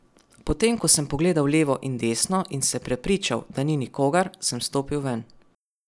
Potem ko sem pogledal levo in desno in se prepričal, da ni nikogar, sem stopil ven.